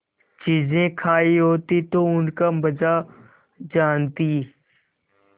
चीजें खायी होती तो उनका मजा जानतीं